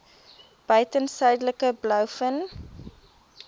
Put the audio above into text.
buiten suidelike blouvin